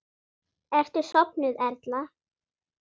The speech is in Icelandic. Ertu sofnuð, Erla?